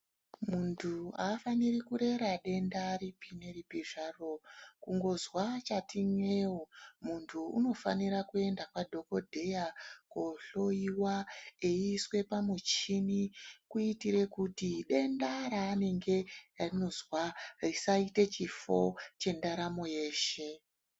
Muntu haafaniri kurera denda ripi neripi zvaro kungozwa chati n'eu muntu unofanira kuenda kwadhogodheya koohloyiwa eiiswe pamuchini. Kuitire kuti denda raanende eizwa risaite chifo chendaramo yeshe.